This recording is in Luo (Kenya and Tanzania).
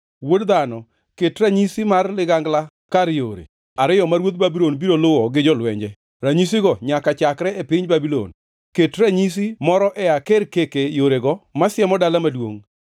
“Wuod dhano, ket ranyisi mar ligangla kar yore ariyo ma ruodh Babulon biro luwo gi jolwenje, ranyisigo nyaka chakre e piny Babulon. Ket ranyisi moro e akerkeke yorego ma siemo dala maduongʼ.